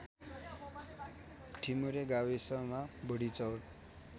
ठिमुरे गाविसमा बुढिचौर